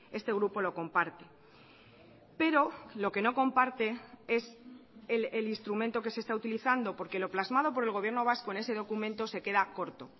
este grupo lo comparte pero lo que no comparte es el instrumento que se está utilizando porque lo plasmado por el gobierno vasco en ese documento se queda corto